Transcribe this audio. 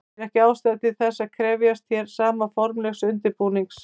Því er ekki ástæða til þess að krefjast hér sama formlegs undirbúnings.